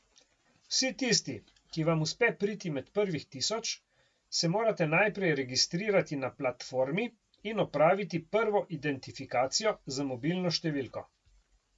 Vsi tisti, ki vam uspe priti med prvih tisoč, se morate najprej registrirati na platformi in opraviti prvo identifikacijo z mobilno številko.